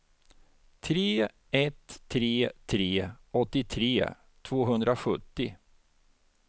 tre ett tre tre åttiotre tvåhundrasjuttio